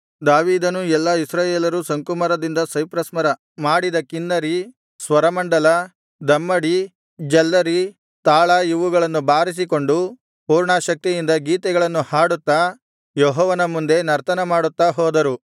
ದಾವೀದನೂ ಎಲ್ಲಾ ಇಸ್ರಾಯೇಲರೂ ಶಂಕುಮರದಿಂದ ಸೈಪ್ರಸ್ ಮರ ಮಾಡಿದ ಕಿನ್ನರಿ ಸ್ವರಮಂಡಲ ದಮ್ಮಡಿ ಝಲ್ಲರಿ ತಾಳ ಇವುಗಳನ್ನು ಬಾರಿಸಿಕೊಂಡು ಪೂರ್ಣಾಸಕ್ತಿಯಿಂದ ಗೀತೆಗಳನ್ನು ಹಾಡುತ್ತಾ ಯೆಹೋವನ ಮುಂದೆ ನರ್ತನ ಮಾಡುತ್ತಾ ಹೋದರು